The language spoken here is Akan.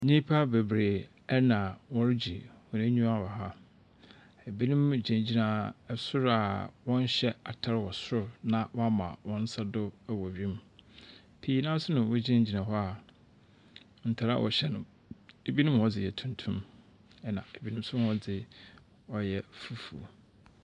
Nnipa bebree ɛna wɔregye wɔn anyiwa wɔ ha. Ebinom gyinagyina ɛsoro a wɔnhyɛ ataar wɔ soro na wɔma wɔn nsa do wɔ wim. Pii no ara nso na wɔgyinagyina hɔ a ntaar a wɔhyɛ no ebinom wɔn dze yɛ tuntum ɛna ebinom nso wɔn dze ɔyɛ fufuo.